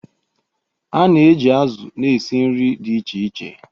A na-eji azụ̀ na-esi nri dị iche iche.